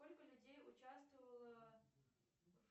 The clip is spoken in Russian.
сколько людей участвовало